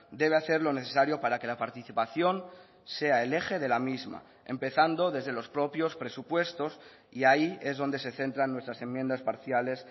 debe hacer lo necesario para que la participación sea el eje de la misma empezando desde los propios presupuestos y ahí es donde se centran nuestras enmiendas parciales